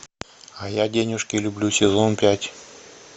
а я денежки люблю сезон пять